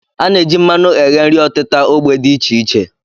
A na-eji mmanụ eghe nri ọtịta ógbè dị iche iche